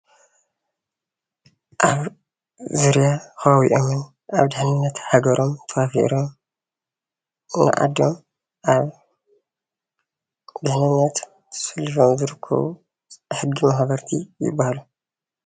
አብ ዙርያ ከባቢኦምን አብ ድሕንነት ሃገሮም ተዋፊሮም ንዓዶም አብ ድሕንነት ተሰሊፎም ዝርከቡ ሕጊ መክበርቲ ይበሃሉ።